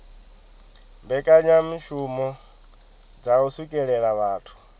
mbekanyamishumo dza u swikelela vhathu